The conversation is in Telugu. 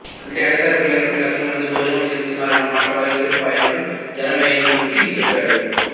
అంటే ఎడతెరపి లేకుండా లక్షల మంది భోజనము చేస్తునారన్న మాట వైశంపాయనుడు జనమేజయుడికి చెప్పాడు